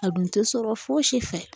A dun tɛ sɔrɔ fosi fɛ